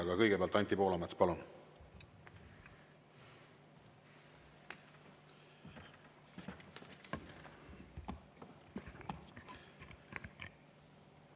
Aga kõigepealt Anti Poolamets, palun!